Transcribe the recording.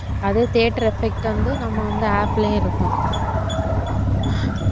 அது theater effect வந்து நம்ம வந்து app லயும் இருக்கும்